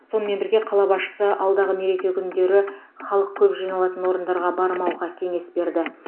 сонымен бірге қала басшысы алдағы мереке күндері халық көп жиналатын орындарға бармауға кеңес берді